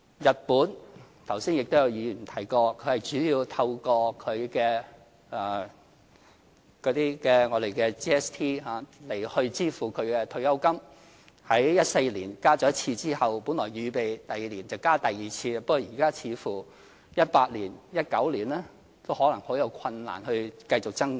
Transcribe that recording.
日本——剛才也有議員提過——主要是透過 GST 來支付退休金開支，在2014年增加過一次之後，本來預備第二年增加第二次，但現在似乎2018年或2019年都可能難以繼續增加。